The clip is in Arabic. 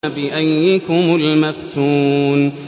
بِأَييِّكُمُ الْمَفْتُونُ